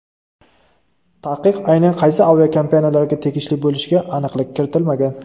Taqiq aynan qaysi aviakompaniyalarga tegishli bo‘lishiga aniqlik kiritilmagan.